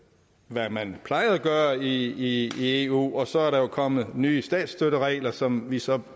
hvad man plejede at gøre i eu og så er der jo kommet nye statsstøtteregler som vi så er